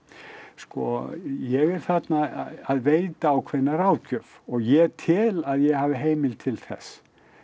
sko ég er þarna að veita ákveðna ráðgjöf og ég tel að ég hafi heimild til þess